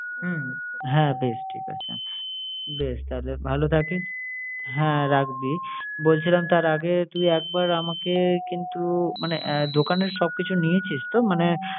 হুম! হ্যাঁ বেশ ঠিক আছে। বেশ তাহলে ভালো থাকিস। হ্যাঁ রাখবি। বলছিলাম তার আগে তুই একবার আমাকে কিন্তু মানে আহ দোকানের সব কিছু নিয়েছিস তো মানে